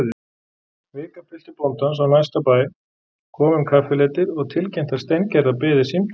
Vikapiltur bóndans á næsta bæ kom um kaffileytið og tilkynnti að Steingerðar biði símtal.